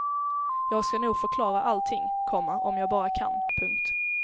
Jag ska nog förklara allting, komma om jag bara kan. punkt